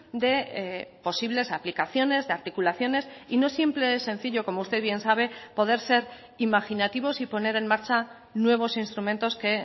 de posibles aplicaciones de articulaciones y no siempre es sencillo como usted bien sabe poder ser imaginativos y poner en marcha nuevos instrumentos que